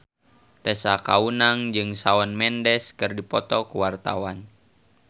Tessa Kaunang jeung Shawn Mendes keur dipoto ku wartawan